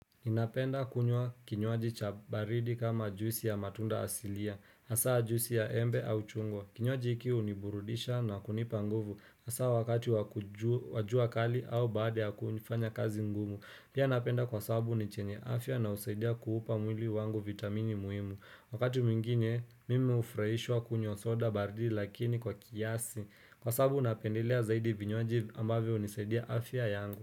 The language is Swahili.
Napenda kunywa kinywaji cha baridi kama juisi ya matunda asilia, hasaa juisi ya embe au chungwa. Kinywaji hiki huniburudisha na kunipa nguvu, hasaa wakati wa jua kali au baada ya kufanya kazi ngumu. Pia napenda kwa sababu ni chenye afya na husaidia kuupa mwili wangu vitamini muhimu. Wakati mwingine, mimi hufurahishwa kunywa soda baridi lakini kwa kiasi. Kwa sabbau napendelea zaidi vinywaji ambavyo hunisaidia afya yangu.